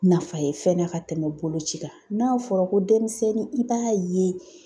Nafa ye fɛnɛ ka tɛmɛ boloci kan, n'a fɔra ko denmisɛnnin i b'a ye